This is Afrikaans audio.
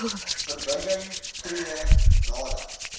verbinding tree nadat